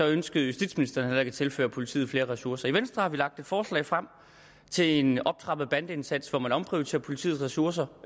ønskede justitsministeren heller ikke at tilføre politiet flere ressourcer i venstre har vi lagt et forslag frem til en optrappet bandeindsats hvor man omprioriterer politiets ressourcer